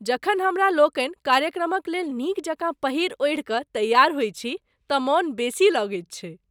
जखन हमरा लोकनि कार्यक्रमक लेल नीक जकाँ पहिरि ओढ़िकऽ तैयार होइत छी तँ मन बेसी लगैत छैक।